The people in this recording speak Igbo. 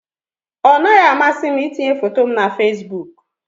Ọ naghị amasị m itinye foto m na Facebook